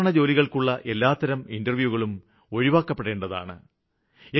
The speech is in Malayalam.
സാധാരണ ജോലികള്ക്കുള്ള എല്ലാത്തരം ഇന്റര്വ്യൂകളും ഒഴിവാക്കപ്പെടേണ്ടതാണ്